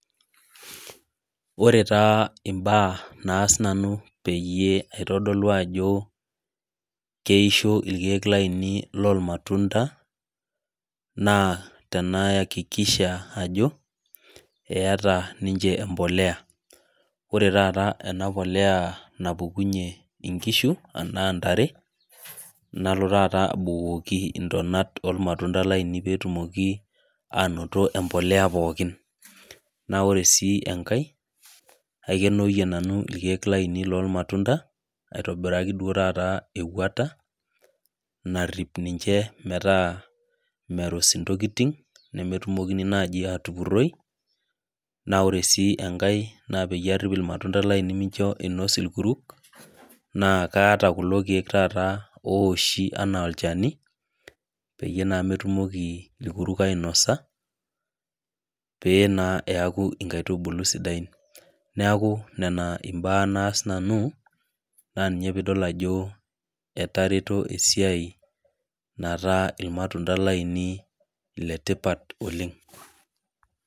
Ore taa imbaa naas nanu peyie aitodolu ajo keisho irkeek lainei lormatunda, naa tenaakikisha ajo, eeta ninche empolea. Ore taata ena polea napukunye inkishu anaa ntare, nalo taata abukoki intonat ormatunda lainei petumoki anoto empolea pookin. Na ore si enkae, aikenoyie nanu irkeek lainei lormatunda, aitobiraki duo taata ewuata, narrip ninche metaa mero ntokiting, nemetumokini naji atupurroi, na ore si enkae na peyie arripi irmatunda lainei mincho inos irkuru, na kaata kulo keek taata ooshi enaa olchani, peyie naa metumoki irkuruk ainosa, pe naa eeku inkaitubulu sidain. Neeku nena imbaa naas nanu, na ninye pidol ajo etareto esiai, nataa irmatunda lainei ile tipat oleng.